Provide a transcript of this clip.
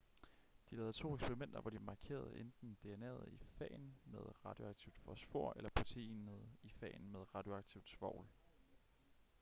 de lavede to eksperimenter hvor de markerede enten dna'et i fagen med radioaktivt fosfor eller proteinet i fagen med radioaktivt svovl